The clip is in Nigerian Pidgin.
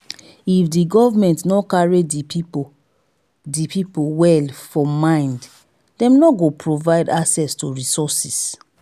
if di government no carry di pipo di pipo well for mind dem no go provide access to resources